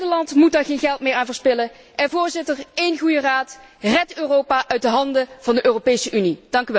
Nederland moet daar geen geld meer aan verspillen en Voorzitter, één goede raad, red Europa uit de handen van de Europese Unie.